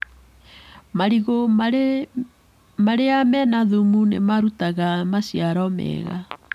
Marigũ marĩa mena thumu nĩ marutaga maciaro mega.